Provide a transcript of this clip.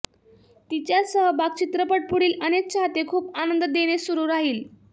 तिच्या सहभाग चित्रपट पुढील अनेक चाहते खूप आनंद देणे सुरू राहील